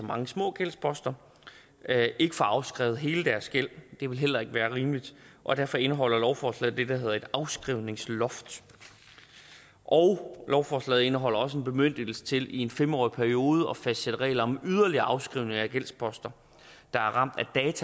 mange små gældsposter ikke får afskrevet hele deres gæld det ville heller ikke være rimeligt og derfor indeholder lovforslaget det der hedder et afskrivningsloft lovforslaget indeholder også en bemyndigelse til i en fem årig periode at fastsætte regler om yderligere afskrivning af gældsposter der er ramt